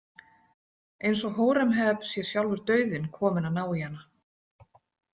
Eins og Hóremheb sé sjálfur dauðinn kominn að ná í hana.